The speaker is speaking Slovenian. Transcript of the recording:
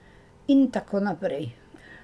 In tako naprej.